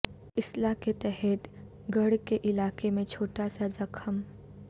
اسلحہ کے تحت گڑھ کے علاقے میں چھوٹا سا زخم